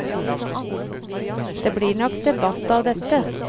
Det blir nok debatt av dette.